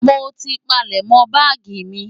Mo ti palẹ̀mọ́ báàgì mi.